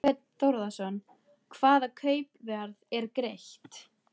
Þorbjörn Þórðarson: Hvaða kaupverð er greitt?